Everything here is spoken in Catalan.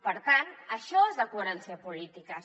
per tant això és la coherència de polítiques